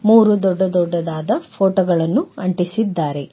ಮೂರು ದೊಡ್ಡ ದೊಡ್ಡದಾದ ಫೋಟೋ ಗಳನ್ನು ಅಂಟಿಸಿದ್ದಾರೆ.